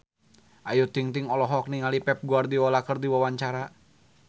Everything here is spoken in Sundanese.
Ayu Ting-ting olohok ningali Pep Guardiola keur diwawancara